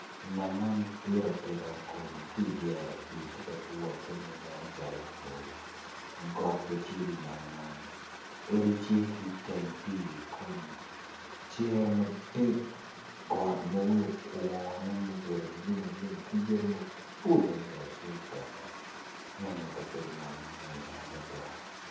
Nam man dit atika kun ki idyere pii tye ka twagge ma nen calo bwoyo got bene tye idye nam man odi tye ki iteng pii cere madit got ma wiye okwone ma obedo alumalum ki yadi maboco adada tye itenge neno kabedo man mwonya adada.